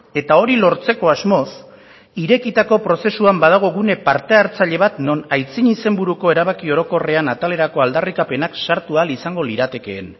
eta hori lortzeko asmoz irekitako prozesuan badago gune parte hartzaile bat non aitzin izenburuko erabaki orokorrean atalerako aldarrikapenak sartu ahal izango liratekeen